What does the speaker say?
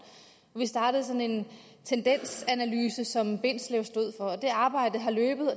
vi startede sådan en tendensanalyse som bindslev stod for og det arbejde har løbet